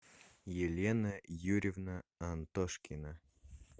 елена юрьевна антошкина